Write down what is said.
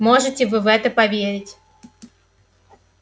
можете вы в это поверить